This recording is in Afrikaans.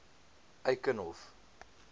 eikenhof